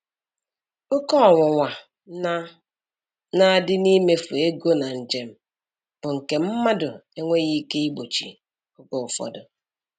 Oke ọnwụnwa na na adi n'imefu ego na njem bụ nke mmadụ enweghị ike igbochi oge ụfọdụ.